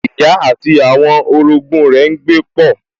Ìyá àti àwọn orogún rẹ̀ n gbé pọ̀